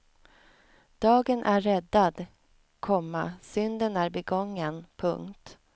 Dagen är räddad, komma synden är begången. punkt